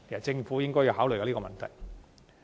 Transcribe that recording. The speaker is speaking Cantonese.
政府應考慮這個問題。